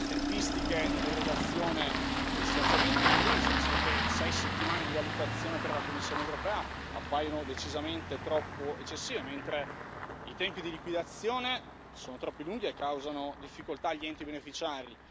Le tempistiche nell'erogazione degli stanziamenti, in primis, visto che sei settimane di valutazione per la Commissione europea appaiono decisamente eccessive, mentre i tempi di liquidazione sono troppo lunghi e causano difficoltà gli enti beneficiari.